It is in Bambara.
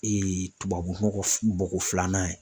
tubabu nɔgɔ bɔko filanan ye